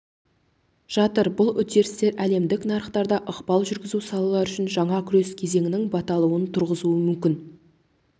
жатыр бұл үдерістер әлемдік нарықтарда ықпал жүргізу салалары үшін жаңа күрес кезеңінің баталуын туғызуы мүмкін